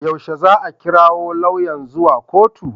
Yaushe za a kirawo lauyan zuwa kotu?